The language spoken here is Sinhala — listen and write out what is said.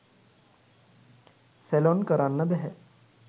සැලොන් කරන්න බැහැ.